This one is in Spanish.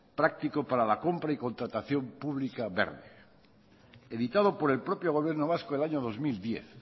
práctico para la compra y contratación pública verde editado por el propio gobierno vasco el año dos mil diez